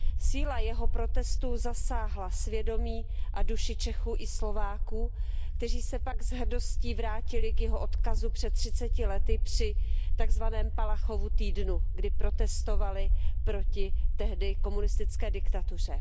Síla jeho protestu zasáhla svědomí a duši Čechů i Slováků, kteří se pak s hrdostí vrátili k jeho odkazu před třiceti lety při tak zvaném Palachovu týdnu, kdy protestovali proti tehdy komunistické diktatuře.